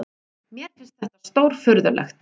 Mér finnst þetta stórfurðulegt.